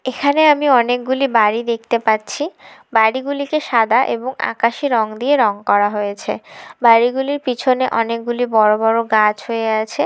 এখানে আমি অনেকগুলি বাড়ি দেখতে পাচ্ছি বাড়িগুলিকে সাদা এবং আকাশী রং দিয়ে রং করা হয়েছে বাড়িগুলোর পিছনে অনেকগুলি বড় বড় গাছ হয়ে আছে।